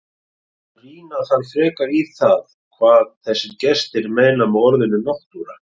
Rýna þarf frekar í það hvað þessir gestir meina með orðinu náttúra.